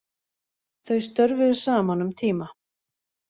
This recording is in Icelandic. Þau störfuðu saman um tíma